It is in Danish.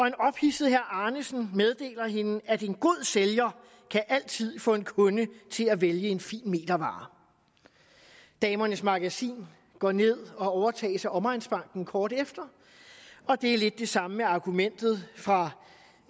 en ophidset herre arnesen meddeler hende at en god sælger altid kan få en kunde til at vælge en fin metervare damernes magasin går ned og overtages af omegnsbanken kort efter og det er lidt det samme med argumentet fra